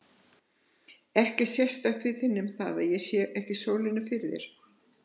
Ekkert sérstakt við þig nema það að ég sé ekki sólina fyrir þér.